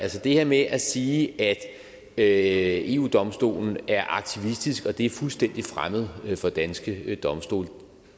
det her med at sige at at eu domstolen er aktivistisk og det er fuldstændig fremmed for danske domstole